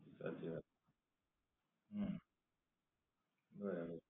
સાચી વાત, હમ બરાબર છે.